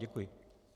Děkuji.